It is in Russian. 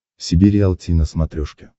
себе риалти на смотрешке